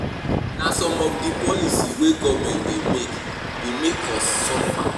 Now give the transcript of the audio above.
Na some of di policy wey government dey make dey make us suffer.